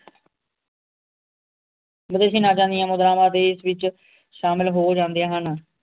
ਮਤਲਬ ਇਸਦੀ ਨਾਜਾਣੀਆਂ ਮੁਦਰਾਵਾਂ ਦੇਸ਼ ਵਿਚ ਸ਼ਾਮਿਲ ਹੋ ਜਾਂਦੀਆਂ ਹਨ